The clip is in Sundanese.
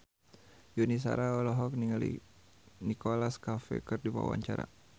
Yuni Shara olohok ningali Nicholas Cafe keur diwawancara